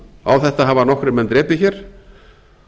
á þetta hafa nokkrir menn drepið hér